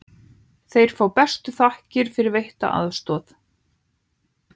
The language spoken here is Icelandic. Fá þeir bestu þakkir fyrir veitta aðstoð.